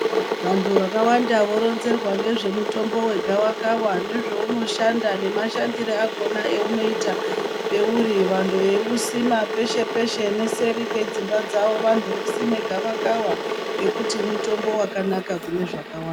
Vantu vakawanda voronzerwa ngezvemutombo wegavakava, nezvounoshanda nemashandire akhona eunoita peuri ,vantu veiusima peshe-peshe neseri kwedzimba dzavo. Vantu vosime gavakava ngekuti mutombo wakanaka kune zvakawanda.